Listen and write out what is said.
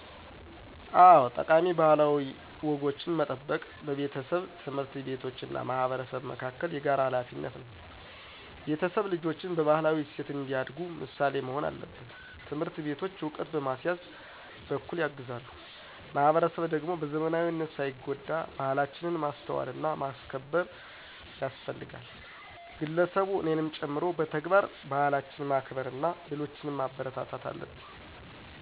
አዎ፣ ጠቃሚ ባህላዊ ወጎችን መጠበቅ በቤተሰብ፣ ትምህርት ቤቶች እና ማህበረሰብ መካከል የተጋራ ሀላፊነት ነው። ቤተሰብ ልጆችን በባህላዊ እሴት እንዲያዳጉ ምሳሌ መሆን አለበት። ትምህርት ቤቶች ዕውቀት በማሲያዝ በኩል ያግዛሉ። ማህበረሰብ ደግሞ በዘመናዊነት ሳይጎዳ ባህላችንን ማስተዋልና ማክበር ያስፈልጋል። ግለሰቡ እኔንም ጨምሮ በተግባር ባህላትን ማክበርና ሌሎችን ማበረታታት አለብን።